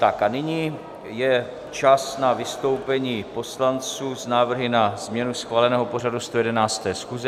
Tak a nyní je čas na vystoupení poslanců s návrhy na změnu schváleného pořadu 111. schůze.